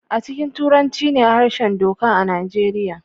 A cikin Turanci ne harshen doka a Nijeriya